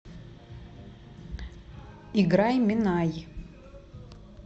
играй минай